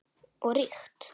Og ríkt.